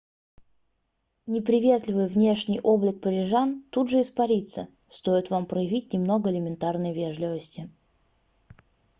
неприветливый внешний облик парижан тут же испарится стоит вам проявить немного элементарной вежливости